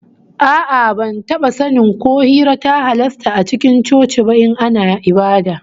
A'a, ban taba sanin ko hira ta halasta a cikin coci ba in ana ibada